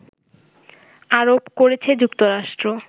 আরোপ করেছে যুক্তরাষ্ট্র